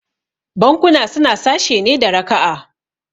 Bankuna suna sashe ne da raka'a